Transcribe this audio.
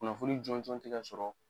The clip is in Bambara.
Kunnafoni jɔnjɔn te ka sɔrɔ